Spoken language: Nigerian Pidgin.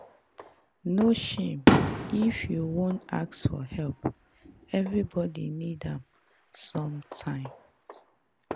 No shame if you wan ask for help, everybodi need am sometimes.